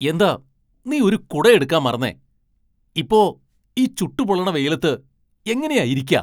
എന്താ നീ ഒരു കുട എടുക്കാൻ മറന്നേ ? ഇപ്പോ ഈ ചുട്ടു പൊള്ളണ വെയിലത്ത് എങ്ങനെയാ ഇരിയ്ക്ക?